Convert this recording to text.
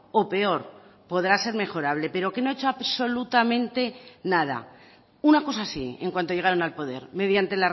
o peor podrá ser mejorable pero que no ha hecho absolutamente nada una cosa sí en cuanto llegaron al poder mediante